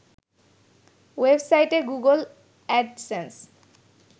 ওয়েবসাইটে Google AdSense